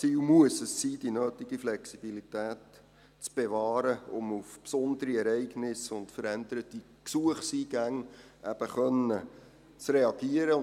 Das Ziel muss sein, die nötige Flexibilität zu bewahren, um eben auf besondere Ereignisse und veränderte Gesuchseingänge reagieren zu können.